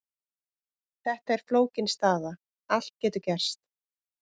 Þetta er flókin staða, allt getur gerst.